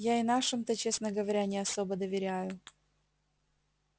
я и нашим-то честно говоря не особо доверяю